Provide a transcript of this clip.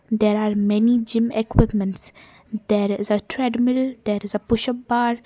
there are many gym equipments there is a treadmill that is a pushup part.